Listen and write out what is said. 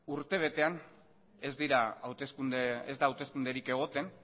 urtebetean ez da hauteskunderik egoten